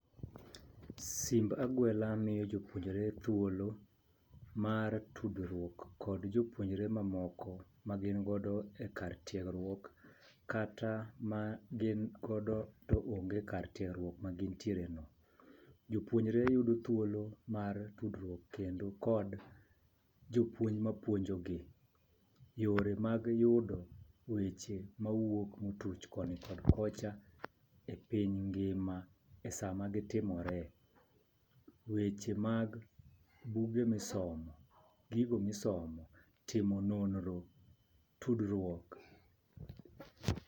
Simb agwela miyo jopuonjre thuolo mar tudruok kod jopuonjre mamoko ma gin godo e kar tiegruok kata magin godo to onge e kar tiegruok ma gintiereno. Jopuonjre yudo thuolo mar tudruok kendo kod jopuonj mapuojogi. Yore mag yudo weche mawuok motuch koni kod kocha e piny ngima e sama gi timore. Weche mag buge misomo, gigo misomo timo nonro ,tudruok.